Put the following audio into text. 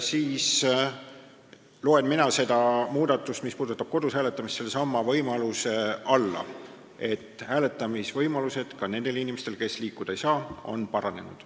Mina loen selle muudatuse, mis puudutab kodus hääletamist, sinna hulka, et hääletamisvõimalused on paranenud ka nendel inimestel, kes liikuda ei saa.